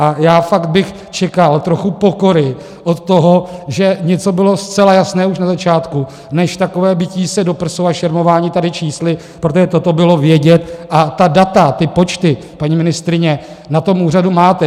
A já fakt bych čekal trochu pokory od toho, že něco bylo zcela jasné už na začátku, než takové bití se do prsou a šermování tady čísly, protože toto bylo vědět, a ta data, ty počty, paní ministryně, na tom úřadu máte.